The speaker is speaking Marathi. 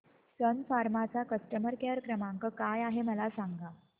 सन फार्मा चा कस्टमर केअर क्रमांक काय आहे मला सांगा